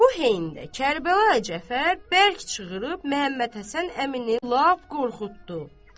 Bu heyində Kərbəlayı Cəfər bərk çığırıb Məhəmməd Həsən əmini lap qorxutdu.